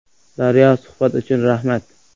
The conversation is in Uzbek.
“Daryo”: Suhbat uchun rahmat.